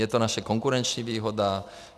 Je to naše konkurenční výhoda.